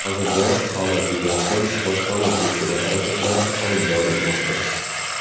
Hozirda holat yuzasidan bojxona tekshiruv harakatlari olib borilmoqda.